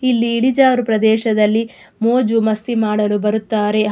ಇಲ್ಲಿ ಇಳಿಜಾರು ಪ್ರದೇಶದಲ್ಲಿ ಮೋಜು ಮಾಸ್ತಿ ಮಾಡಲು ಬರುತ್ತಾರೆ ಹಾಗೂ --